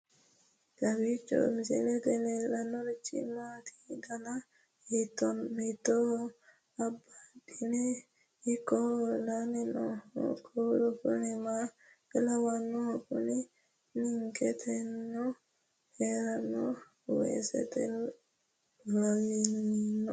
kowiicho misilete leellanorichi maati ? dana hiittooho ?abadhhenni ikko uulla noohu kuulu kuni maa lawannoho? kuni ninketeno heeranno waasati lawinoe